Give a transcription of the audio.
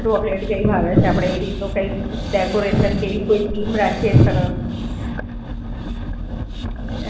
સરસ, બરોડા માંજ. કઈ chocolate -વોંકલેટ ભાવે છે, આપડે એ રીતનું કઈક decoration કે એવી કોઈ theme રાખીએ.